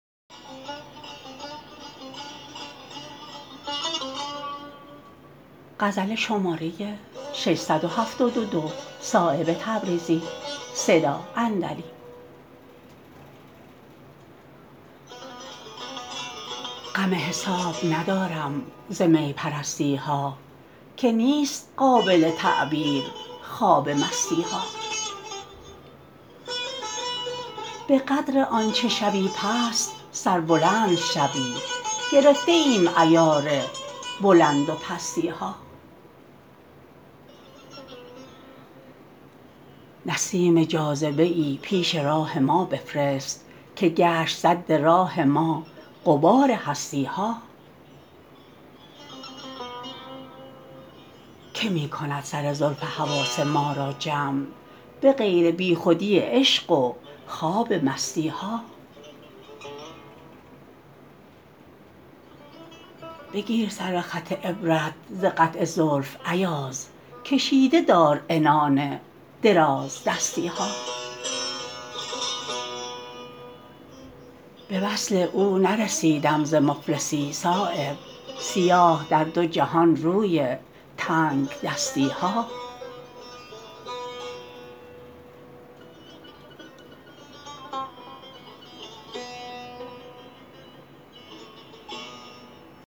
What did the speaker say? غم حساب ندارم ز می پرستی ها که نیست قابل تعبیر خواب مستی ها به قدر آنچه شوی پست سربلند شوی گرفته ایم عیار بلند و پستی ها نسیم جاذبه ای پیش راه ما بفرست که گشت سد ره ما غبار هستی ها که می کند سر زلف حواس ما را جمع به غیر بی خودی عشق و خواب مستی ها بگیر سر خط عبرت ز قطع زلف ایاز کشیده دار عنان درازدستی ها به وصل او نرسیدم ز مفلسی صایب سیاه در دو جهان روی تنگدستی ها